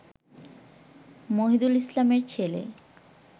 মহিদুল ইসলামের ছেলে